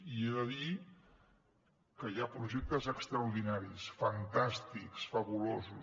i he de dir que hi ha projectes extraordinaris fantàstics fabulosos